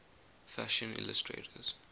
fashion illustrators